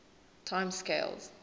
time scales